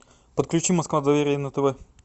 подключи москва доверие на тв